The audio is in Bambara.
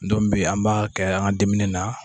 bi an b'a kɛ an dimini na.